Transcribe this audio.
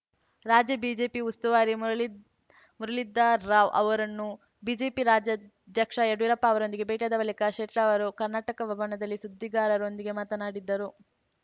ರಾಜ್ಯ ಬಿಜೆಪಿ ಉಸ್ತುವಾರಿ ಮುರಳೀ ಮುರಳೀಧರ್‌ರಾವ್‌ ಅವರನ್ನು ಬಿಜೆಪಿ ರಾಜ್ಯಾಧ್ಯಕ್ಷ ಯಡಿಯೂರಪ್ಪ ಅವರೊಂದಿಗೆ ಭೇಟಿಯಾದ ಬಳಿಕ ಶೆಟ್ಟರ್‌ ಅವರು ಕರ್ನಾಟಕ ಭವನದಲ್ಲಿ ಸುದ್ದಿಗಾರರೊಂದಿಗೆ ಮಾತನಾಡಿದರು